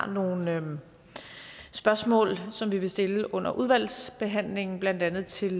nogle spørgsmål som vi vil stille under udvalgsbehandlingen blandt andet til